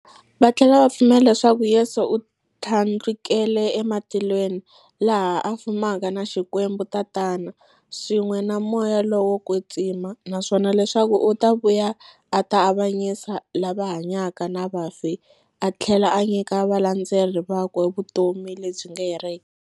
Vathlela va pfumela leswaku Yesu u thlandlukele ematilweni, laha a fumaka na Xikwembu-Tatana, swin'we na Moya lowo kwetsima, naswona leswaku u ta vuya a ta avanyisa lava hanyaka na vafi athlela a nyika valandzeri vakwe vutomi lebyi nga heriki.